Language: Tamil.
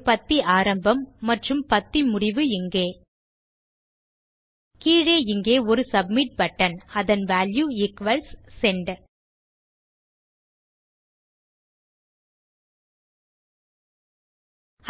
ஒரு பத்தி ஆரம்பம் மற்றும் பத்தி முடிவு இங்கே கீழே இங்கே ஒரு சப்மிட் பட்டன் அதன் வால்யூ ஈக்வல்ஸ் செண்ட்